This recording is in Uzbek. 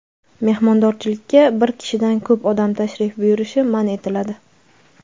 mehmondorchilikka bir kishidan ko‘p odam tashrif buyurishi man etiladi.